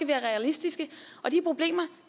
være realistiske og de problemer